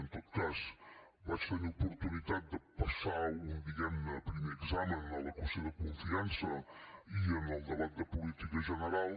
en tot cas vaig tenir oportunitat de passar un diguem ne primer examen amb la qüestió de confiança i amb el debat de política general